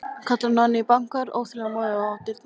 kallar Nonni og bankar óþolinmóður á dyrnar.